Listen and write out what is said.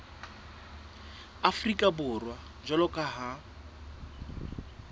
afrika borwa jwalo ka ha